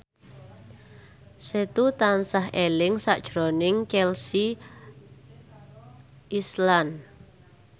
Setu tansah eling sakjroning Chelsea Islan